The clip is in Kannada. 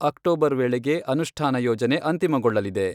ಅಕ್ಟೋಬರ್ ವೇಳೆಗೆ ಅನುಷ್ಠಾನ ಯೋಜನೆ ಅಂತಿಮಗೊಳ್ಳಲಿದೆ.